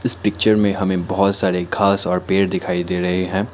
Picture में हमें बहोत सारे घास और पेड़ दिखाई दे रहे हैं।